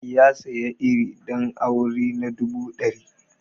Ya sayi iri ɗan aure na dubu ɗari